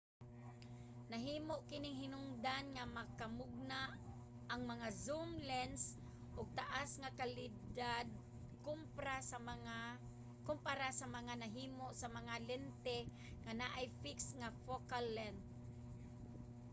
nahimo kining hinungdan nga makamugna ang mga zoom lense og taas nga kalidad kompara sa mga nahimo sa mga lente nga anaay fixed nga focal length